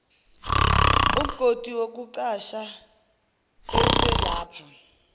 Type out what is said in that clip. umgodi wokucasha eselapha